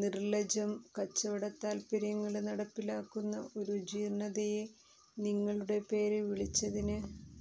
നിര്ലജ്ജം കച്ചവടതാല്പര്യങ്ങള് നടപ്പിലാക്കുന്ന ഒരു ജീര്ണ്ണതയെ നിങ്ങളുടെ പേര് വിളിച്ചതിന്